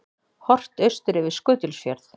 Horft austur yfir Skutulsfjörð.